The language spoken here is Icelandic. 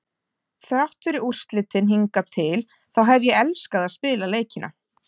Þrátt fyrir úrslitin hingað til þá hef ég elskað að spila leikina.